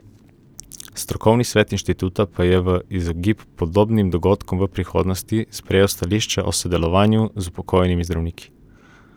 Strokovni svet inštituta pa je, v izogib podobnim dogodkom v prihodnosti, sprejel stališče o sodelovanju z upokojenimi zdravniki.